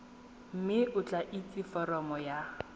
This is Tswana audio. mme o tlatse foromo ya